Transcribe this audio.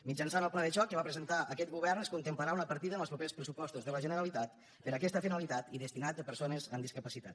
mitjançant el pla de xoc que va presentar aquest govern es contemplarà una partida en els propers pressupostos de la generalitat per a aquesta finalitat i destinat a persones amb discapacitat